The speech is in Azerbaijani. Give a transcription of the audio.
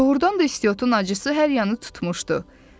Doğrudan da istiotun acısı hər yanı tutmuşdu.